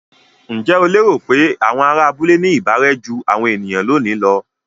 Ǹjẹ́ o lérò pé àwọn ará abúlé ní ìbárẹ́ jú àwọn ènìyàn lónìí lọ?